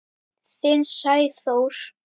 Þinn Sæþór.